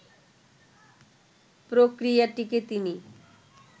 প্রক্রিয়াটিকে তিনি